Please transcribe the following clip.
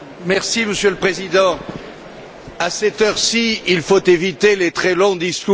Monsieur le Président, à cette heure ci, il faut éviter les très longs discours.